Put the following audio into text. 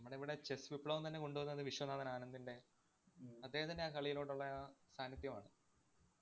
ഇവിടെ chess വിപ്ലവം തന്നെ കൊണ്ട് വന്നത് വിശ്വനാഥന്‍ ആനന്ദിന്‍റെ ഉം അദ്ദേഹത്തിന്‍റെയാ കളിയിലോട്ടുള്ളയാ സാന്നിദ്ധ്യമാണ്.